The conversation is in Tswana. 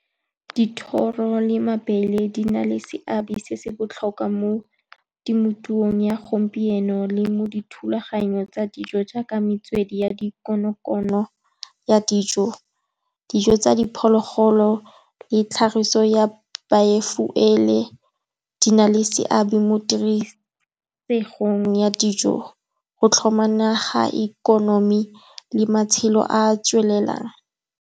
Dithoro le mabele di na le seabe se se botlhokwa mo temothuong ya gompieno le mo dithulaganyong tsa dijo, jaaka metswedi ya dikonokono ya dijo. Dijo tsa diphologolo le tlhagiso ya di na le seabe mo tirisong ya dijo, go tlhoma naga ikonomi le matshelo a a tswelelang.